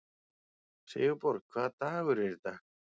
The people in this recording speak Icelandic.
Sigurborg, hvaða dagur er í dag?